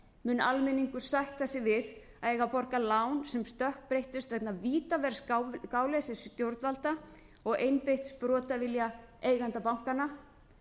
mun almenningur sætta sig við að eiga að borga lán sem stökkbreyttust vegna vítaverðs gáleysis stjórnvalda og einbeitts brotavilja eigenda bankanna